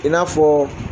I n'a fɔ